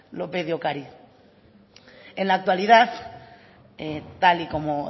lópez de ocariz en la actualidad tal y como